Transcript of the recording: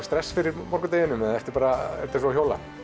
stress fyrir morgundeginum eða er þetta bara eins og að hjóla